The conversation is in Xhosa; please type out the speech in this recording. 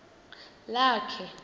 lakhe